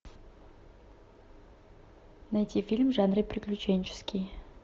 найти фильм в жанре приключенческий